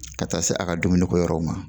Ka taa se a ka dumuniko yɔrɔw ma